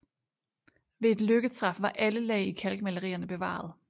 Ved et lykketræf var alle lag i kalkmalerierne bevaret